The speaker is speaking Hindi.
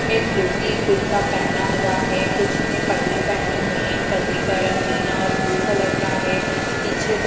ने धोती कुर्ता पहेना हुआ है कुछ ने पगड़ी पहेनी हुई है इन पगड़ी का रंग नीला और ब्लू कलर का है पीछे --